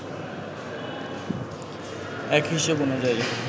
এক হিসেব অনুযায়ী